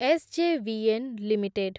SJVN limited